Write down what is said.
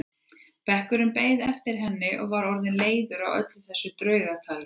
Bekkurinn beið eftir henni og var orðinn leiður á öllu þessu draugatali.